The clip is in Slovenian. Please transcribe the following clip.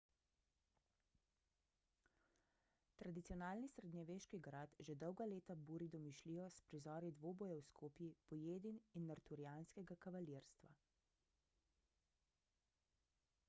tradicionalni srednjeveški grad že dolga leta buri domišljijo s prizori dvobojev s kopji pojedin in arturijanskega kavalirstva